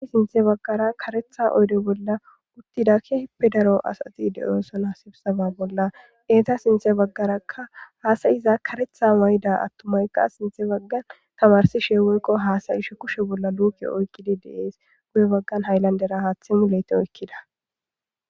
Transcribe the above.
i sinthe baggara karetha oyde bolla uttidakke hippe daro asati de7oosonhasibsaba bolla eeta sinthe baggarakka haasayiza karetha may7ida attumayka sinthe baggan tamarsi sheeweykko haasayishe kushe bolla luuke oykkidi deees guye baggan hayllandera haaththi muleyte oykkida